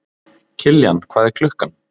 Kiljan, hvað er klukkan?